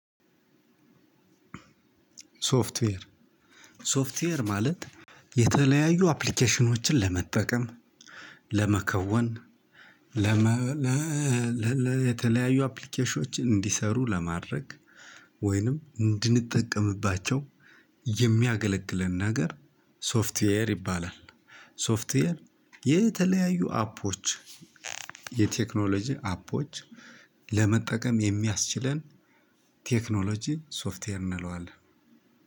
ሶፍትዌር ሶፍትዌር ማለት የተለያዩ አፕሊኬሽኖችን ለመጠቀም ለመከወን ለመ ለለለ የተለያዩ አፕሊኬሽኖችን እንዲሰሩ ለማድረግ ወይንም እንድንጠቀምባቸው የሚያገለግለን ነገር ሶፍትዌር ይባላል። ሶፍትዌር የተለያዩ አፖች የቴክኖሎጂ አፖች ለመጠቀም የሚያስችለን ቴክኖሎጂ ሶፍትዌር እንለዋለን።